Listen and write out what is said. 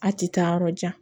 A ti taa yɔrɔ jan